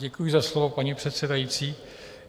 Děkuji za slovo, paní předsedající.